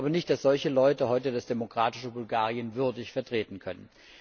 Ich glaube nicht, dass solche Leute heute das demokratische Bulgarien würdig vertreten können.